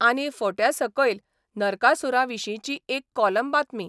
आनी फोट्यासकयल नरकासुरांविशींची एक कॉलम बातमी.